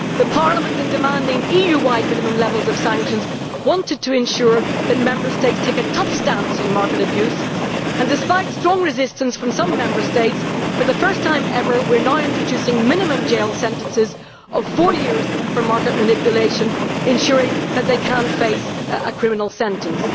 Parliament, in demanding EU wide minimum levels of sanctions, wanted to ensure that Member States take a tough stance on market abuse, and despite strong resistance from some Member States, for the first time ever we are now introducing minimum jail sentences of four years for market manipulation, ensuring that they can face a criminal sentence.